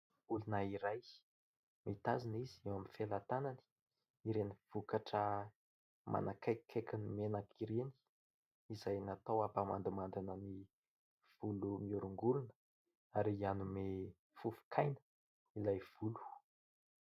Olona iray mitazona izy eo amin'ny felatanany ireny vokatra manakaikaiky ny menaka ireny, izay natao hampamandimandina ny volo mihorongorona ary hanome fofokaina ilay volo.